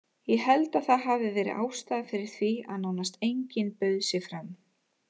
Ég held að það hafi verið ástæðan fyrir því að nánast enginn bauð sig fram.